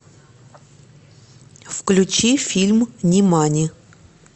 включи фильм нимани